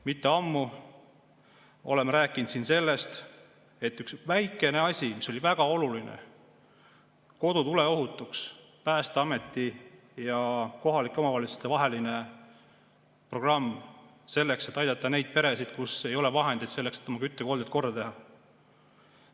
Mitte ammu rääkisime siin ühest väikesest asjast, mis oli väga oluline: "Kodu tuleohutuks", Päästeameti ja kohalike omavalitsuste programm, et aidata neid peresid, kus ei ole vahendeid, et oma küttekolded korda teha.